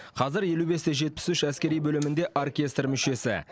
қазір елу бесте жетпіс үш әскери бөлімінде оркестр мүшесі